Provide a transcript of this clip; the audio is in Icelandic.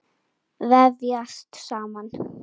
Vefjast saman.